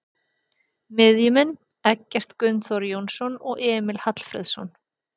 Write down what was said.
Miðjumenn: Eggert Gunnþór Jónsson og Emil Hallfreðsson